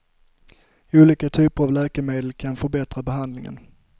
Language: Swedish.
Olika typer av läkemedel kan förbättra behandlingen.